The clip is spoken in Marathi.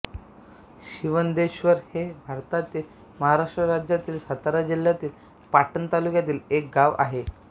शिवंदेश्वर हे भारतातील महाराष्ट्र राज्यातील सातारा जिल्ह्यातील पाटण तालुक्यातील एक गाव आहे